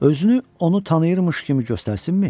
Özünü onu tanıyırmış kimi göstərsinmi?